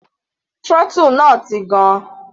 Throttle náà ti gan.